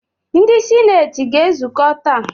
Ndị sineeti ga-ezukọ taa.